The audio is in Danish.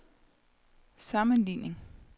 sammenligning